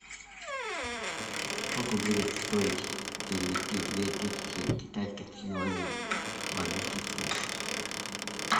сколько будет стоить перевести две тысячи китайских юаней в английский фунт